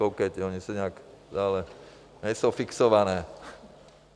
Koukejte, ony se nějak stále... nejsou fixované.